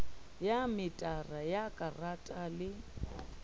ya metara wa karata le